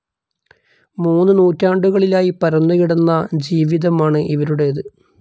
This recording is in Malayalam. മൂന്നു നൂറ്റാണ്ടുകളിലായി പരന്നു കിടന്ന ജീവിതമാണു് ഇവരുടെത്.